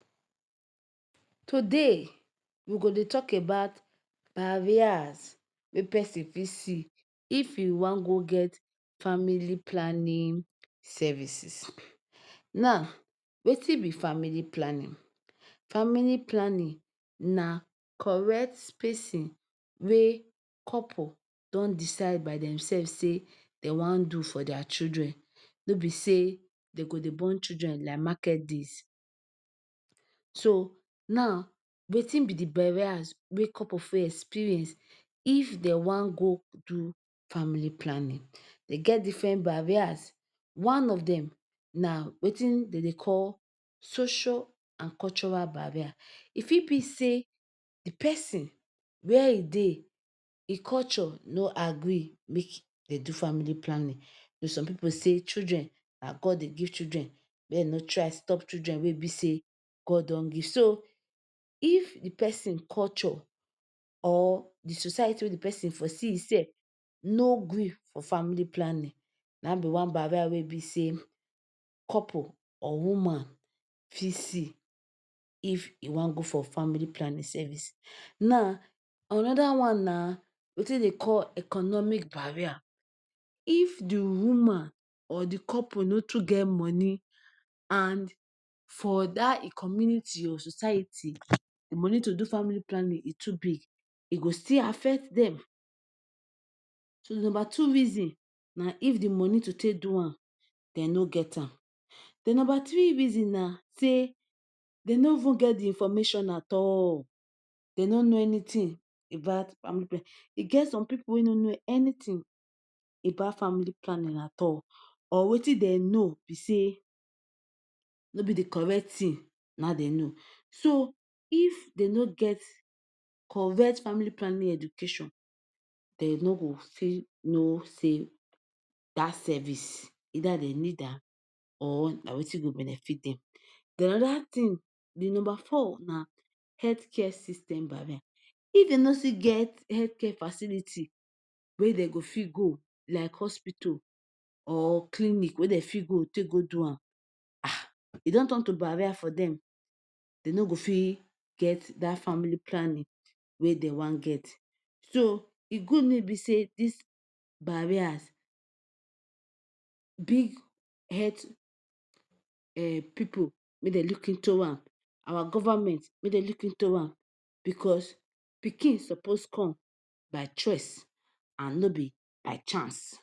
Today we go talk about barriers wey person fit see if e want go get family planning services. Now, wetin be family planning, family planning na correct spacing wey couple don decide by dem self sey dem wan do for their children nor be say dem go dey born children like market days. So, now wetin be de barriers wey couple face experience if dem wan go do family planning. Dey get different barriers one of dem wetin dey call social and cultural barrier. If e be sey de person where e dey culture nor agree make dem do family planning, some pipu say children na God dey give children make e nor try stop children wey be sey God don give. So, if de person culture or de society wey de person for see him self nor green for family planning na be one barrier wey be say couple or woman fit see if e wan go for family planning service. Now, another one na wetin dey call economic barrier if de woman or couple nor too get money and for dat e community or society de money to family planning e too big e go still affect dem. so de number two rason na if the money to take do am nor get am. De number three reason be say dem nor even get de information at all, dem nor know anything about family planning. E get some pipu wey nor know anything about family palnnig at all but wetin dem know be say nor be de correct thing na dem know. So if dem nor get correct family planning education dem nor go fit know say dat service either dem need am or na wetin go benefit dem. Then another thing, de number four na health care system barrier. If you nor get health care facility wey dem go fit go like hospital or clinic wey dem fit go take go do am um e don turn to barrier for dem. Dey nor go fit get dat family planning wey dem wan get. So, e good make e be say dis barriers big health[um] pipu make dem look into am, our government make dem look into am because pikin suppose come by choice and nor be by chance.